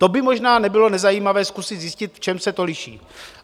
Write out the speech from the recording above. To by možná nebylo nezajímavé zkusit zjistit, v čem se to liší.